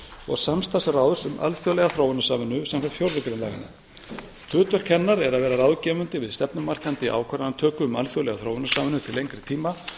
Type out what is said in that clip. og samstarfsráðs um alþjóðlega þróunarsamvinnu samkvæmt fjórðu grein laganna hlutverk hennar er að vera ráðgefandi við stefnumarkandi ákvörðunartöku um alþjóðlega þróunarsamvinnu til lengri tíma